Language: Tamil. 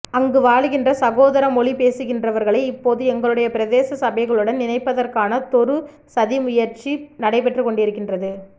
அங்கு வாழுகின்ற சகோதர மொழி பேசுகின்றவர்களை இப்போது எங்களுடைய பிரதேச சபைகளுடன் இணைப்பதற்கானதொரு சதி முயற்சி நடைபெற்றுக்கொண்டிருக்கின்றது